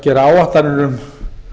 gera áætlanir um